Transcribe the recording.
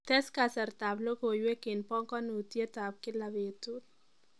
Tes kasarta ab logoiwek eng banganyutiet ab gila betut